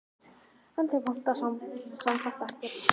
En þig vantar sem sagt ekkert?